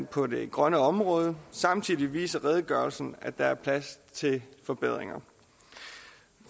på det grønne område samtidig viser redegørelsen at der er plads til forbedringer